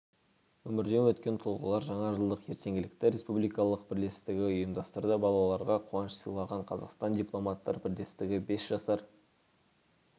өмірден өткентұлғалар жаңа жылдық ертеңгілікті республикалық бірлестігі ұйымдастырды балаларға қуаныш сыйлаған қазақстан дипломаттар бірлестігі бес жасар